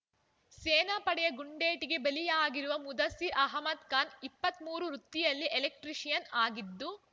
ಸೇನಾ ಪಡೆಯ ಗುಂಡೇಟಿಗೆ ಬಲಿಯಾಗಿರುವ ಮುದಸಿರ್ ಅಹಮದ್ ಖಾನ್ ಇಪ್ಪತ್ತ್ ಮೂರು ವೃತ್ತಿಯಲ್ಲಿ ಎಲೆಕ್ಟ್ರಿಷಿಯನ್ ಆಗಿದ್ದು